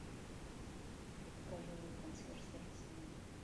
покажи консьерж сервиса номер